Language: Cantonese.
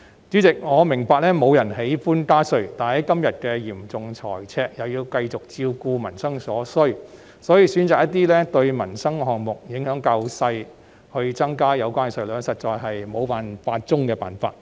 主席，我明白沒有人喜歡加稅，但面對現時嚴重的財政赤字，又要繼續照顧民生所需，選擇增加一些對民生影響較小的項目的稅率實在是沒有辦法中的辦法。